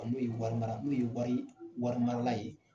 N'o ye wari mara n'o ye warii wari marala ye